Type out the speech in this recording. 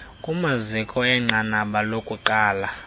kumaziko enqanaba lokuqala